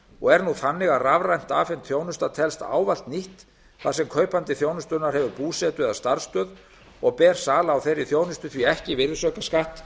og er nú þannig að rafrænt afhent þjónusta telst ávallt nýtt þar sem kaupandi þjónustunnar hefur búsetu eða starfsstöð og ber sala á þeirri þjónustu því ekki virðisaukaskatt